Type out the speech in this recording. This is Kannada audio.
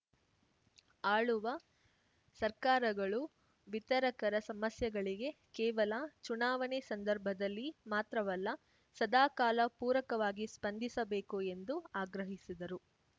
ಆಳುವ ಸರ್ಕಾರಗಳು ವಿತರಕರ ಸಮಸ್ಯೆಗಳಿಗೆ ಕೇವಲ ಚುನಾವಣೆ ಸಂದರ್ಭದಲ್ಲಿ ಮಾತ್ರವಲ್ಲ ಸದಾ ಕಾಲ ಪೂರಕವಾಗಿ ಸ್ಪಂದಿಸಬೇಕು ಎಂದು ಆಗ್ರಹಿಸಿದರು